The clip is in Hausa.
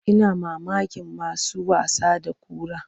Ina mamakin masu wasa da kura.